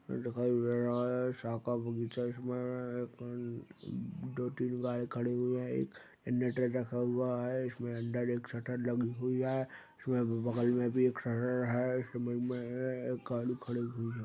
दिखाई दे रहा है साका बगीचा है इसमें एक अ दो तीन गाड़ी खड़ी हुई है एक जेनरेटर रखा हुआ है इसमें अंदर एक शटर लगी हुई है इसमें भी बगल में भी एक शटर है इसम में एक गाड़ी खड़ी हुई हैं।